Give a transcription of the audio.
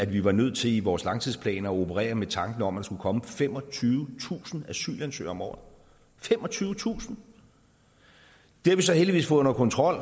vi var nødt til i vores langtidsplaner at operere med tanken om at der skulle komme femogtyvetusind asylansøgere om året femogtyvetusind det har vi så heldigvis fået under kontrol